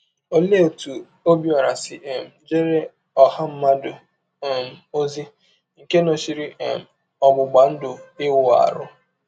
Olee otú Ọbiọra si um jeere ọha mmadụ um ozi nke nọchiri um ọgbụgba ndụ Iwu ahụ?